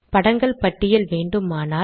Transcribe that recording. படங்கள் பட்டியல் வேண்டுமானால்